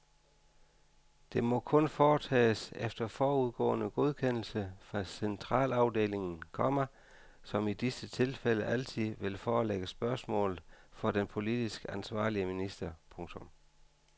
Det må kun foretages efter forudgående godkendelse fra centralafdelingen, komma som i disse tilfælde altid vil forelægge spørgsmålet for den politisk ansvarlige minister. punktum